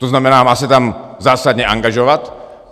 To znamená, má se tam zásadně angažovat.